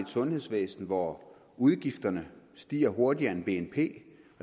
sundhedsvæsen hvor udgifterne stiger hurtigere end bnp